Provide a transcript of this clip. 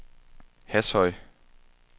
Hashøj